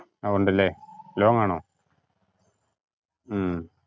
ആ ഉണ്ടല്ലേ long ആണോ?